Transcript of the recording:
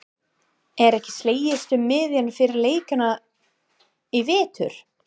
Er ekki slegist um miðana fyrir leikina í vetur?